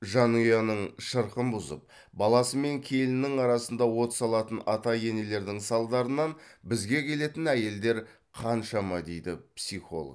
жанұяның шырқын бұзып баласы мен келінінің арасында от салатын ата енелердің салдарынан бізге келетін әйелдер қаншама дейді психолог